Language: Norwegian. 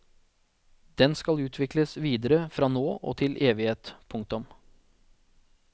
Den skal utvikles videre fra nå og til evighet. punktum